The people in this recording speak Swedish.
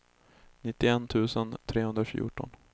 nittioett tusen trehundrafjorton